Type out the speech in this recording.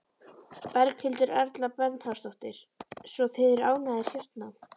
Berghildur Erla Bernharðsdóttur: Svo þið eru ánægðir hérna?